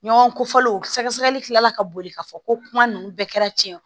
Ɲɔgɔn kofɔlenw sɛgɛsɛgɛli tilala ka boli k'a fɔ ko kuma ninnu bɛɛ kɛra tiɲɛ ye